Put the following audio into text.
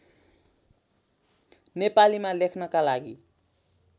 नेपालीमा लेख्नका लागि